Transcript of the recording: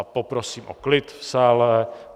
A poprosím o klid v sále.